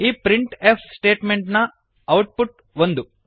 ಈ print of statement ನ output ಒಂದು